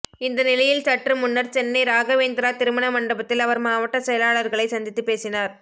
இந்த நிலையில் சற்று முன்னர் சென்னை ராகவேந்திரா திருமண மண்டபத்தில் அவர் மாவட்ட செயலாளர்களை சந்தித்துப் பேசினார்